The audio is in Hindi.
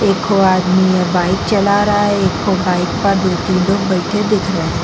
एकठो आदमी यहाँ बाइक चला रहा है एकठो बाइक का डिक्की पे बैठे दिख रहे है ।